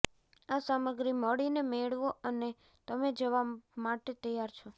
આ સામગ્રી મળીને મેળવો અને તમે જવા માટે તૈયાર છો